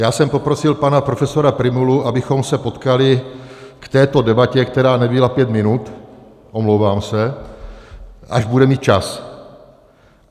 Já jsem poprosil pana profesora Prymulu, abychom se potkali k této debatě, která nebyla pět minut, omlouvám se, až bude mít čas.